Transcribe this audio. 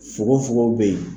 Fugofugo bɛ yen.